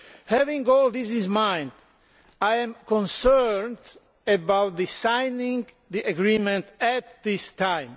Bearing this in mind, I am concerned about signing the agreement at this time.